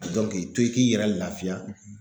a dɔn k'i to i k'i yɛrɛ lafiya